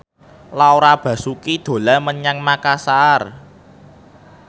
Laura Basuki dolan menyang Makasar